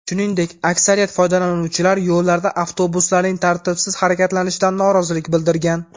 Shuningdek, aksariyat foydalanuvchilar yo‘llarda avtobuslarning tartibsiz harakatlanishidan norozilik bildirgan.